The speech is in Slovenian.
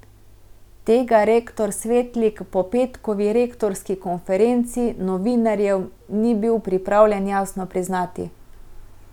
Tega rektor Svetlik po petkovi rektorski konferenci novinarjem ni bil pripravljen jasno priznati...